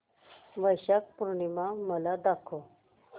वैशाख पूर्णिमा मला दाखव